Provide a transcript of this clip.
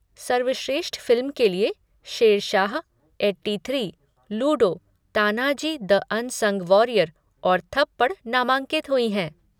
सर्वश्रेष्ठ फ़िल्म के लिए Shershaah, eighty three, Ludo, Tanhaji The Unsung Warrior और थप्पड़ नामांकित हुई हैं।